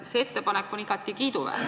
See ettepanek on igati kiiduväärt.